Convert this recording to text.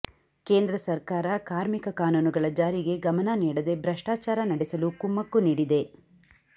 ಕೇಂದ್ರ ಸಕರ್ಾರ ಕಾಮರ್ಿಕ ಕಾನೂನುಗಳ ಜಾರಿಗೆ ಗಮನ ನೀಡದೆ ಭ್ರಷ್ಟಾಚಾರ ನಡೆಸಲು ಕುಮ್ಮಕ್ಕು ನೀಡಿದೆ